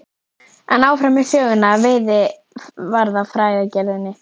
En áfram með söguna af veiðarfæragerðinni.